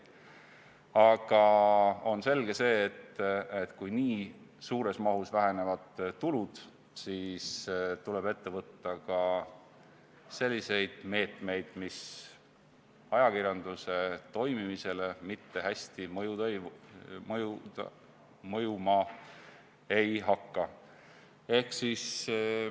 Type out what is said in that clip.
Aga selge on see, et kui nii suures mahus vähenevad tulud, siis tuleb võtta ka selliseid meetmeid, mis ajakirjanduse toimimisele mitte hästi mõjuma ei hakka.